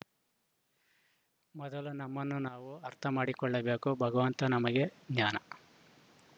ಮೊದಲು ನಮ್ಮನ್ನು ನಾವು ಅರ್ಥಮಾಡಿಕೊಳ್ಳಬೇಕು ಭಗವಂತ ನಮಗೆ ಜ್ಞಾನ